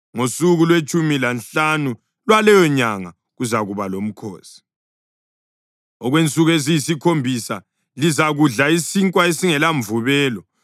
Ngosuku lwetshumi lanhlanu lwaleyonyanga kuzakuba lomkhosi; okwensuku eziyisikhombisa lizakudla isinkwa esingelamvubelo.